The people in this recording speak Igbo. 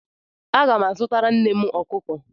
Aga m azụtara nnem ọkụkọ.